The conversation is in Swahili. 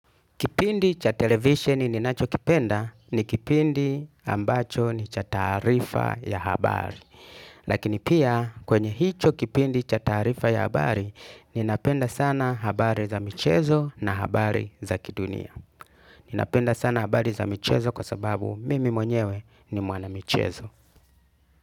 Kipindi cha televisheni ninacho kipenda ni kipindi ambacho ni cha taarifa ya habari. Lakini pia kwenye hicho kipindi cha taarifa ya habari ninapenda sana habari za michezo na habari za kidunia. Ninapenda sana habari za michezo kwa sababu mimi mwenyewe ni mwana michezo.